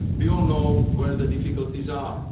be done. We all know where the difficulties